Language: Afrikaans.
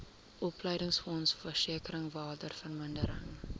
opleidingsfonds versekering waardevermindering